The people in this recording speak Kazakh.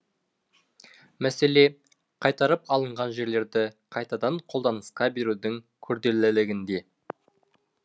мәселе қайтарып алынған жерлерді қайтадан қолданысқа берудің күрделілігінде